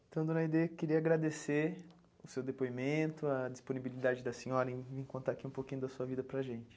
Então, dona Aide, queria agradecer o seu depoimento, a disponibilidade da senhora em contar aqui um pouquinho da sua vida para a gente.